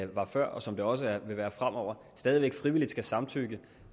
var før og som det også vil være fremover stadig væk frivilligt skal samtykke